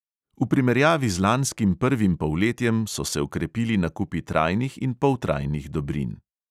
V primerjavi z lanskim prvim polletjem so se okrepili nakupi trajnih in poltrajnih dobrin.